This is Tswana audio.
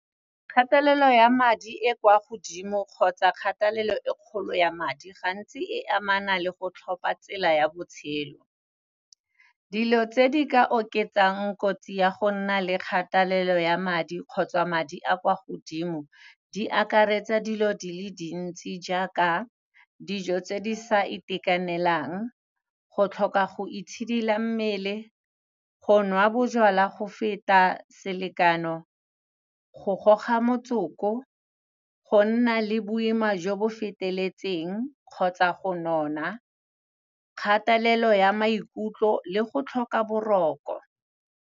Kgatelelo ya madi e kwa godimo kgotsa kgathalelo e kgolo ya madi, gantsi e amana le go tlhopa tsela ya botshelo. Dilo tse di ka oketsang kotsi ya go nna le kgatelelo ya madi kgotsa madi a kwa godimo di akaretsa dilo di le dintsi jaaka, dijo tse di sa itekanelang, go tlhoka go itshidila mmele, go nwa bojalwa go feta selekano, go goga motsoko, go nna le boima jo bo feteletseng, kgotsa go nona, kgatelelo ya maikutlo le go tlhoka boroko.